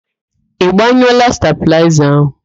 Ị gbanyụọla stabịlaịza ahụ?